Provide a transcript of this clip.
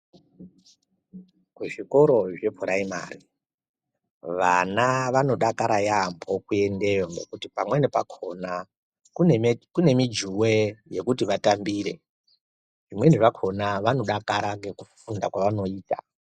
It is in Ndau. Kuzvikoro zvepuraimari vana vanodakara yamhpo kuendeyo ngekuti pamweni pakona kune mijuwe yekuti vatambire zvimweni zvakona vanodakara ngekufunda kwavanenge veiita.